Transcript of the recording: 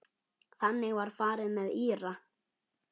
Þannig var farið með Íra.